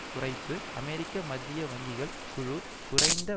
குறைப்பு அமெரிக்க மத்திய வங்கிகள் குழு குறைந்த